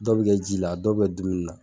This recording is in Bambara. Dɔw bɛ kɛ ji la dɔw bɛ dumuni na